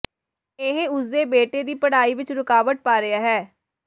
ਇਹ ਉਸਦੇ ਬੇਟੇ ਦੀ ਪੜ੍ਹਾਈ ਵਿਚ ਰੁਕਾਵਟ ਪਾ ਰਿਹਾ ਹੈ